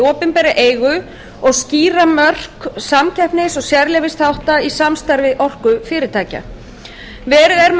opinberri eigu og skýra mörk samkeppnis og sérleyfisþátta í samstarfi orkufyrirtækja verið er með